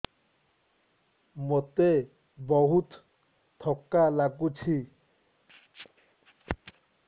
ମୋତେ ବହୁତ୍ ଥକା ଲାଗୁଛି